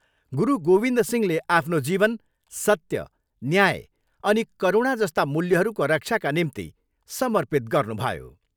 गुरू गोविन्द सिंहले आफ्नो जीवन सत्य, न्याय, अनि करुणा जस्ता मूल्यहरूको रक्षाका निम्ति समर्पित गर्नुभयो।